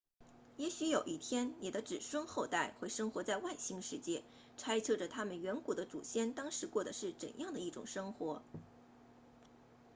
也许有一天你的子孙后代会生活在外星世界猜测着他们远古的祖先当时过得是怎样的一种生活